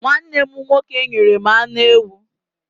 Nwanne m nwoke nyere m anụ ewu.